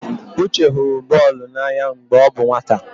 Uche hụrụ bọọlụ n'anya mgbe ọ bụ nwata.